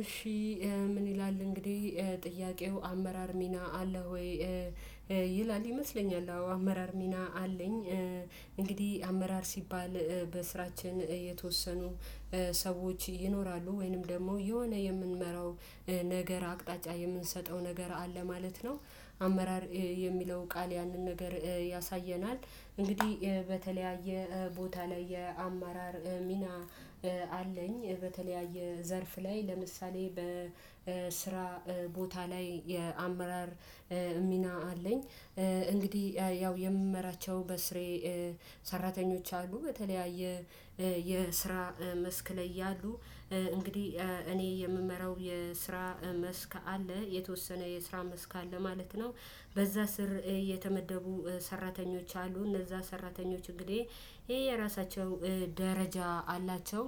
እሺ ምን ይላል እንግዲህ ጥያቄው አመራር ሚና አለ ወይ? ይላል ይመስለኛል አዎ አመራር ሚና አለኝ። እንግዲህ አመራር ሲባል በስራችን የተወሰኑ ሰዎች ይኖራሉ ወይንም ደግሞ የሆነ የምንመራው ነገር አቅጣጫ የምንሰጠው ነገር አለ ማለት ነው። አመራር የሚለው ቃል ያንን ነገር ያሳየናል። እንግዲህ በተለያየ ቦታ ላይ የአማራር ሚና አለኝ በተለያየ ዘርፍ ላይ ለምሳሌ በስራ ቦታ ላይ የአመራር ሚና አለኝ። እንግዲህ ያው የምመራቸው በስሬ ሰራተኞች አሉ። በተለያየ የስራ መስክ ላይ ያሉ እንግዲህ እኔ የምመራው የስራ መስክ አለ የተወሰነ የስራ መስክ አለ ማለት ነው። በዛ ስር የተመደቡ ሰራተኞች አሉ እንደዛ ሰራተኞች እንግዲህ የየራሳቸው ደረጃ አላቸው።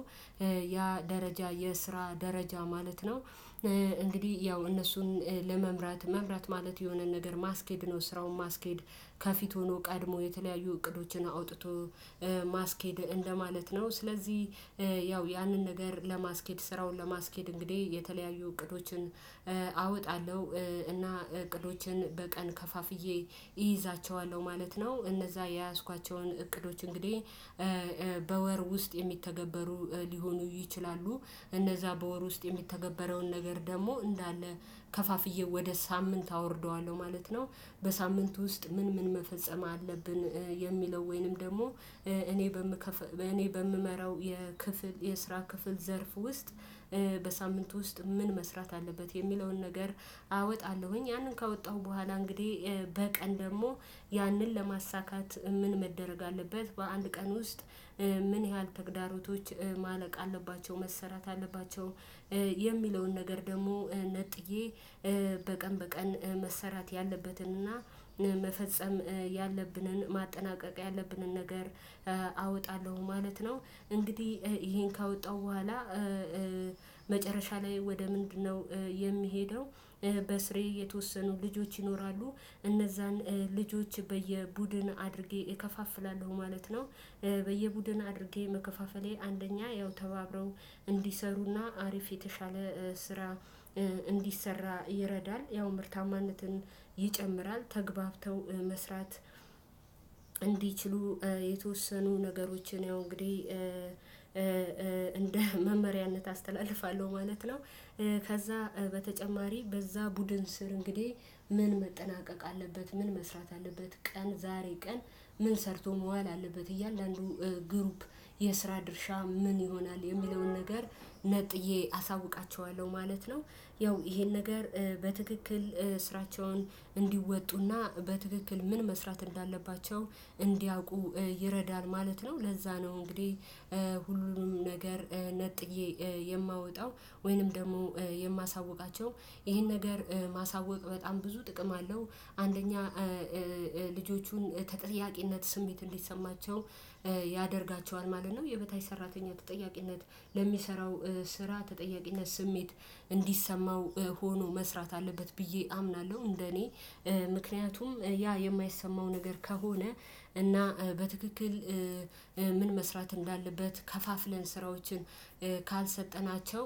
ያ ደረጃ የስራ ደረጃ ማለት ነው። እንግዲህ ያው እነሱን ለመምራት መምራት ማለት የሆነን ነገር ማስኬድ ነው። ስራውን ማስኬድ ከፊት ሆኖ ቀድሞ የተለያዩ እቅዶችን አውጥቶ ማስኬድ እንደማለት ነው። ስለዚህ ያው ያንን ነገር ለማስኬድ ስራውን ለማስኬድ እንግዲህ የተለያዩ እቅዶችን አወጣለሁ። እና እቅዶችን በቀን ከፋፍዬ እይዛቸዋለሁ ማለት ነው። እነዛ የያዝኳቸውን እቅዶች እንግዲህ በወር ውስጥ የሚተገበሩ ሊሆኑ ይችላሉ። እነዛ በወር ውስጥ የሚተገበረውን ነገር ደግሞ እንዳለ ከፋፍዬ ወደ ሳምንት አወርደዋለሁ ማለት ነው። በሳምንቱ ውስጥ ምን ምን መፈጸም አለብን? የሚለው ወይንም ደግሞ እኔ በምክፍ እኔ በምመራው የክፍል የስራ ክፍል ዘርፍ ውስጥ በሳምንቱ ውስጥ ምን መስራት አለበት የሚለውን ነገር አወጣለሁኝ። ያንን ካወጣሁ በኋላ እንግዲህ በቀን ደግሞ ያንን ለማሳካት ምን መደረግ አለበት? በአንድ ቀን ውስጥ ምን ያህል ተግዳሮቶች ማለቅ አለባቸው መሰራት አለባቸው። የሚለውን ነገር ደግሞ ነጥዬ በቀን በቀን መሰራት ያለበትንና መፈጸም ያለብንን ማጠናቀቅ ያለብንን ነገር አወጣለሁ ማለት ነው። እንግዲህ ይሄን ካወጣሁ በኋላ መጨረሻ ላይ ወደ ምንድነው? የሚሄደው በስሬ የተወሰኑ ልጆች ይኖራሉ እነዛን ልጆች በየቡድን አድርጌ እከፋፍላለሁ ማለት ነው። በየቡድን አድርጌ መከፋፈሌ አንደኛ ያው ተባብረው እንዲሰሩና አሪፍ የተሻለ ስራ እንዲሰራ ይረዳል ያው ምርታማነትን ይጨምራል። ተግባብተው መስራት እንዲችሉ የተወሰኑ ነገሮችን ያው እንግዲህ እንደ መመሪያነት አስተላልፋለሁ ማለት ነው። ከዛ በተጨማሪ በዛ ቡድን ስር እንግዲህ ምን መጠናቀቅ አለበት ምን መስራት አለበት ቀን ዛሬ ቀን ምን ሰርቶ መዋል አለበት እያንዳንዱ ግሩፕ የስራ ድርሻ ምን ይሆናል የሚለውን ነገር ነጥዬ አሳውቃቸዋለሁ ማለት ነው። ያው ይሄን ነገር በትክክል ስራቸውን እንዲወጡና በትክክል ምን መስራት እንዳለባቸው እንዲያውቁ ይረዳል ማለት ነው። ለዛ ነው እንግዲህ ሁሉንም ነገር ነጥዬ የማወጣው ወይንም ደግሞ የማሳውቃቸው ይሄን ነገር ማሳወቅ በጣም ብዙ ጥቅም አለው። አንደኛ ልጆቹን ተጠያቂነት ስሜት እንዲሰማቸው ያደርጋቸዋል ማለት ነው። የበታች ሰራተኛ ተጠያቂነት ለሚሰራው ስራ ተጠያቂነት ስሜት እንዲሰማው ሆኖ መስራት አለበት ብዬ አምናለሁ። እንደኔ ምክንያቱም ያ የማይሰማው ነገር ከሆነ እና በትክክል ምን መስራት እንዳለበት ከፋፍለን ስራዎችን ካልሰጠናቸው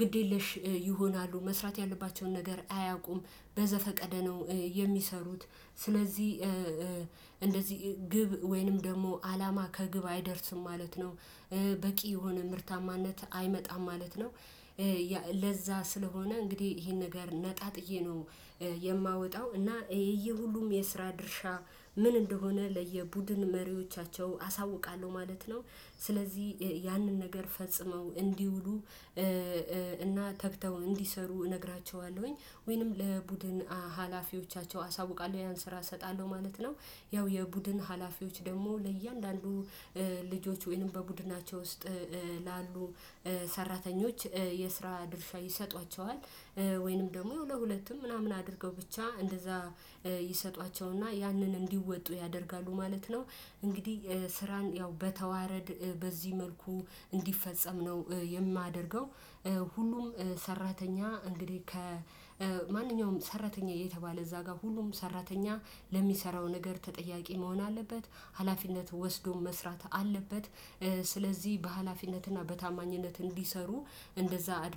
ግድ የለሽ ይሆናሉ። መስራት ያለባቸውን ነገር አያቆም በዘፈቀደ ነው የሚሰሩት። ስለዚህ እንደዚህ ግብ ወይንም ደግሞ አላማ ከግብ አይደርስም ማለት ነው። በቂ የሆነ ምርታማነት አይመጣም ማለት ነው። ለዛ ስለሆነ እንግዲህ ይሄን ነገር ነጣጥዬ ነው። የማወጣው እና ይሄ ሁሉም የስራ ድርሻ ምን እንደሆነ ለየቡድን መሪዎቻቸው አሳውቃለሁ ማለት ነው። ስለዚህ ያንን ነገር ፈጽመው እንዲውሉ እና ተግተው እንዲሰሩ እነግራቸዋለሁኝ ወይንም ለቡድን ሀላፊዎቻቸው አሳውቃለሁ ያን ስራ እሰጣለሁ ማለት ነው። ያው የቡድን ሀላፊዎች ደግሞ ለእያንዳንዱ ልጆች ወይንም በቡድናቸው ውስጥ ላሉ ሰራተኞች የስራ ድርሻ ይሰጧቸዋል። ወይንም ደግሞ ለሁለትም ምናምን አድርገው ብቻ እንደዛ ይሰጧቸውና ያንን እንዲወጡ ያደርጋሉ ማለት ነው። እንግዲህ ስራን ያው በተዋረድ በዚህ መልኩ እንዲፈጸም ነው የማደርገው። ሁሉም ሰራተኛ እንግዲህ ከ ማንኛውም ሰራተኛ የተባለ እዛ ጋር ሁሉም ሰራተኛ ለሚሰራው ነገር ተጠያቂ መሆን አለበት። ሀላፊነት ወስዶም መስራት አለበት። ስለዚህ በሃላፊነትና በታማኝነት እንዲሰሩ እንደዛ አድርጌ